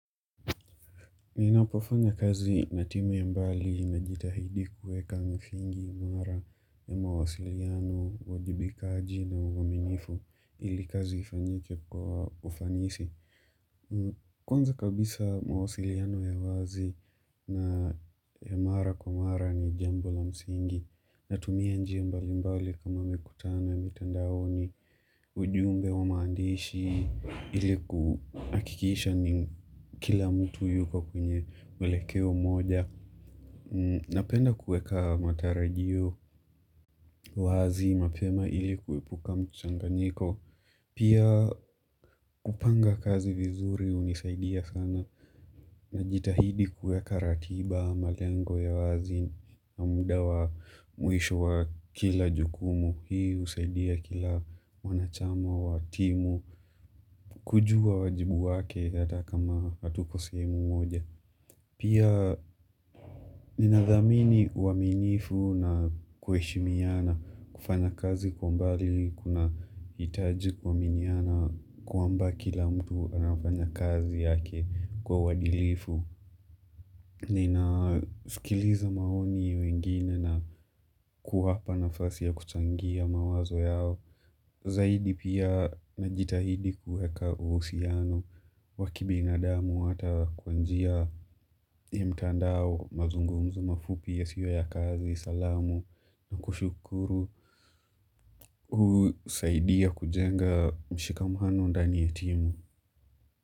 Ninapofanya kazi na timu ya mbali najitahidi kueka msingi mwara ya mawasiliano, uwajibikaji na uaminifu ili kazi ifanyike kwa ufanisi. Kwanza kabisa mawasiliano ya wazi na ya mara kwa mara ni jambo la msingi Natumia njia mbali mbali kama mikutano ya mitandaoni ujumbe wa maandishi ili kuhakikisha ni kila mtu yuko kwenye mwelekeo moja Napenda kuweka matarajio wazi mapema ili kuepuka mchanganyiko Pia kupanga kazi vizuri unisaidia sana Najitahidi kuweka ratiba, malengo ya wazi, na muda wa mwisho wa kila jukumu, hii husaidia kila mwanachama wa timu, kujua wajibu wake hata kama hatuko sehemu moja. Pia ninadhamini uaminifu na kuheshimiana, kufanya kazi kwa mbali kunahitaji kuaminiana kwamba kila mtu anafanya kazi yake kwa uadilifu. Ninasikiliza maoni ya wengine na kuwapa nafasi ya kuchangia mawazo yao Zaidi pia najitahidi kuweka uhusiano wa kibinadamu hata kwa njia ya mtandao mazungumzo mafupi yasiwe ya kazi salamu na kushukuru husaidia kujenga mshikamano ndani ya timu.